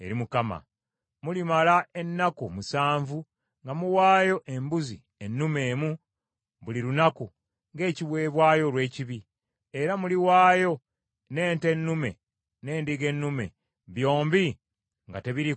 “Mulimala ennaku musanvu nga muwayo embuzi ennume emu buli lunaku ng’ekiweebwayo olw’ekibi. Era muliwaayo n’ente ennume n’endiga ennume, byombi nga tebiriiko kamogo.